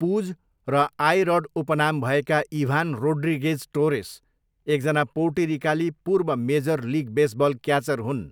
पुज' र 'I Rod' उपनाम भएका इभान रोड्रिगेज टोरेस एकजना पोर्टोरिकाली पूर्व मेजर लिग बेसबल क्याचर हुन्।